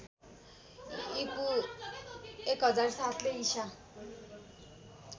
ईपू १००७ ले ईसा